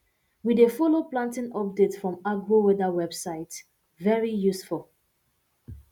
we dey follow planting update from agroweather website very useful